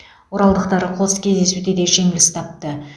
оралдықтар қос кездесуде де жеңіліс тапты